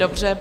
Dobře.